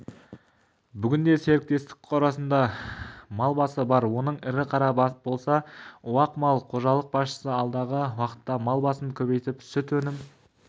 бүгінде серіктестік қорасында мал басы бар оның ірі қара болса уақ мал қожалық басшысы алдағы уақытта мал басын көбейтіп сүт өнім